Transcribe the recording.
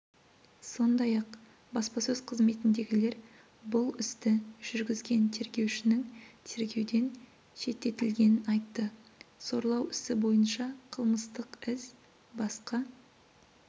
сондай-ақ баспасөз қызметіндегілер бұл істі жүргізген тергеушінің тергеуден шеттетілгенін айтты зорлау ісі бойынша қылмыстық іс басқа